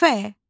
F.